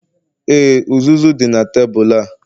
Ee, uzuzu dị na tebụl a